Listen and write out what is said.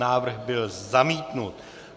Návrh byl zamítnut.